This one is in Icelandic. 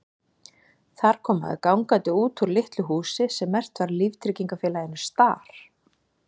Þar kom maður gangandi út úr litlu húsi sem merkt var líftryggingafélaginu Star.